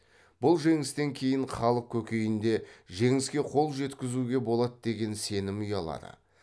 бұл жеңістен кейін халық көкейінде жеңіске қол жеткізуге болады деген сенім ұялады